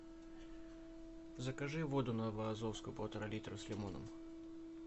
закажи воду новоазовскую полтора литра с лимоном